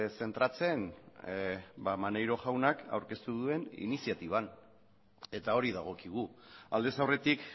zentratzen maneiro jaunak aurkeztu duen iniziatiban eta hori dagokigu aldez aurretik